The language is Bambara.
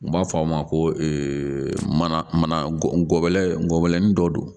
U b'a fɔ o ma ko mana mana gunɛ gɔbɔni dɔ don